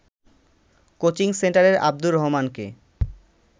coaching সেন্টারের আব্দুর রহমানকে